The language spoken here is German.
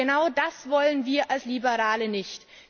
Und genau das wollen wir als Liberale nicht.